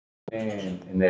Tíu börn.